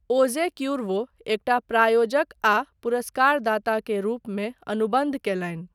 ओजे क्यूर्वो एकटा प्रायोजक आ पुरस्कार दाता के रूपमे अनुबन्ध कयलनि।